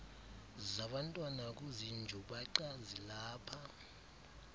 zabantwana kuzinjubaqa zilapha